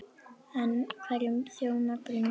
En hverjum þjónar Brynja helst?